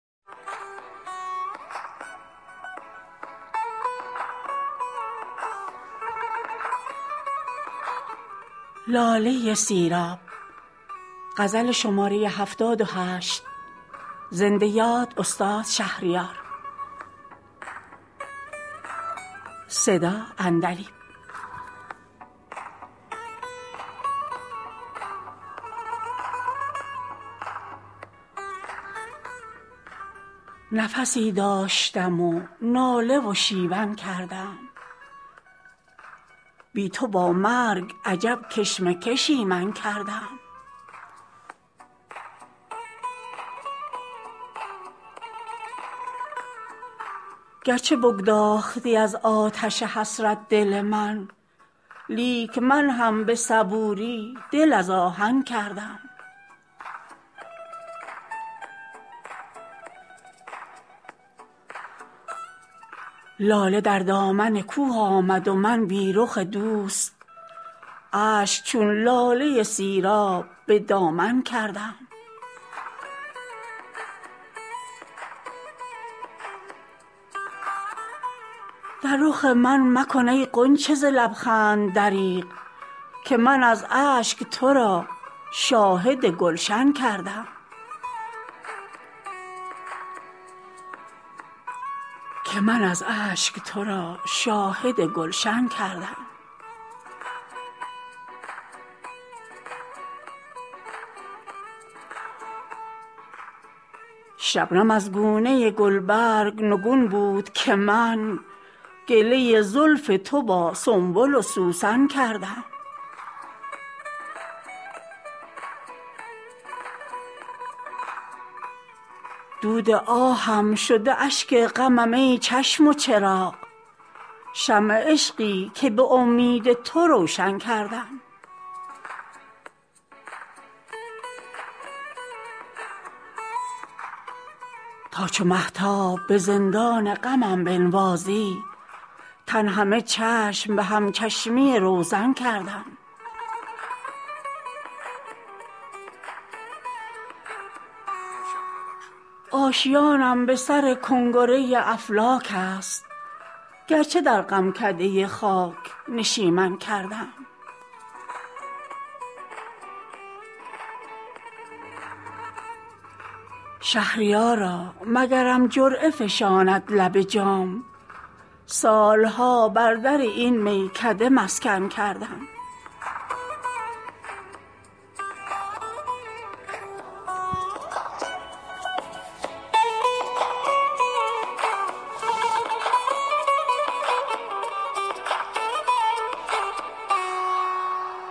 نفسی داشتم و ناله و شیون کردم بی تو با مرگ عجب کشمکشی من کردم گرچه بگداختی از آتش حسرت دل من لیک من هم به صبوری دل از آهن کردم لاله در دامن کوه آمد و من بی رخ دوست اشک چون لاله سیراب به دامن کردم در رخ من مکن ای غنچه ز لبخند دریغ که من از اشک ترا شاهد گلشن کردم چند بر باد دهی حاصلم آخر عمری خوشه های خم گیسوی تو خرمن کردم شبنم از گونه گلبرگ نگون بود که من گله زلف تو با سنبل و سوسن کردم زلف و مژگان تو را مانده رفوی دل ریش پاره شد رشته صبری که به سوزن کردم دود آهم شد اشک غمم ای چشم و چراغ شمع عشقی که به امید تو روشن کردم نه رخ ماه منیژه نه کمند رستم آه از آن ناله که من در چه بیژن کردم دگرم دشمن جان بود و نمی دانستم من غافل گله دوست به دشمن کردم تا چو مهتاب به زندان غمم بنوازی تن همه چشم به هم چشمی روزن کردم آشیانم به سر کنگره افلاک است گرچه در غمکده خاک نشیمن کردم شهریارا مگرم جرعه فشاند لب جام سال ها بر در این میکده مسکن کردم